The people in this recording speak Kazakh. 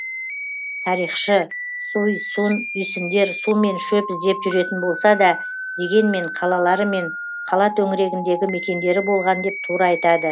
тарихшы суй сун үйсіндер су мен шөп іздеп жүретін болса да дегенмен қалалары мен қала төңірегіндегі мекендері болған деп тура айтады